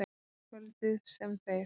Kvöldið, sem þeir